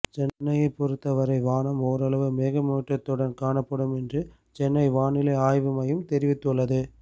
சென்னையை பொறுத்தவரை வானம் ஓரளவு மேகமூட்டத்துடன் காணப்படும் என்று சென்னை வானிலை ஆய்வு மையம் தெரிவித்துள்ளது